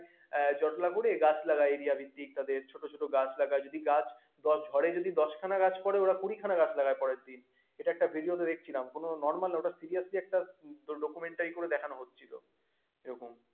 আহ জটলা করে গাছ লাগায় area ভিত্তিক তাদের ছোট ছোট গাছ লাগায়। যদি গাছ ঝড়ে যদি দশখানা গাছ পড়ে ওরা কুড়িখানা গাছ লাগায় পরেরদিন। এটা একটা video তে দেখেছিলাম। কোনো normal না ওটা seriously একটা documentary করে দেখানো হচ্ছিল এরকম।